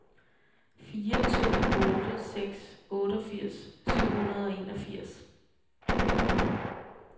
fire to otte seks otteogfirs syv hundrede og enogfirs